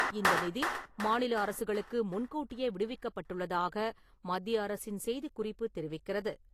இந்த நிதி மாநில அரசுகளுக்கு முன்கூட்டியே விடுவிக்கப்பட்டுள்ளதாக மத்திய அரசின் செய்திக் குறிப்பு தெரிவிக்கிறது.